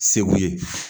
Segu ye